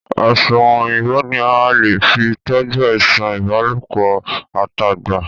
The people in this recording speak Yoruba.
Asunrun Òyìnbó ní a lè fí toju àìsàn ìbálòpọ̀ at'agba.